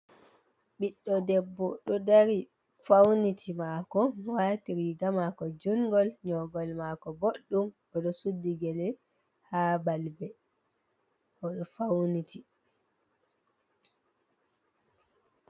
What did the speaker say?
Ɓiɗɗo debbo ɗo dari fauniti mako, wati rigamako jungol, nyogol mako boɗ ɗum, oɗo suddigele ha balbe odo fauniti.